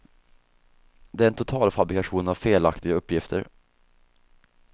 Det är en totalfabrikation av felaktiga uppgifter.